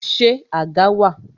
Ṣé àga wà?